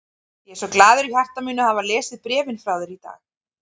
Ég er svo glaður í hjarta mínu að hafa lesið bréfin frá þér í dag.